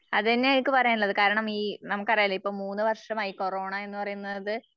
അത്ന്നയാ എനിക്ക് പറയാനുള്ളത്. കാരണം ഈ നമുക്കറിയാല്ലൊ ഇപ്പൊ മൂന്നുവർഷമായി മൂന്ന് വർഷമായി കൊറോണ എന്നുപറയുന്നത്